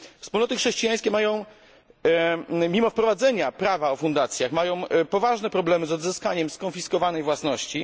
Wspólnoty chrześcijańskie, mimo wprowadzenia prawa o fundacjach, mają poważne problemy z odzyskaniem skonfiskowanej własności.